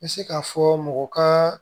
N bɛ se k'a fɔ mɔgɔ ka